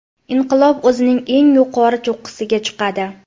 Inqilob o‘zining eng yuqori cho‘qqisiga chiqadi.